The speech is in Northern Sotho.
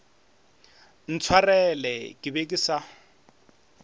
ntshwareleng ke be ke sa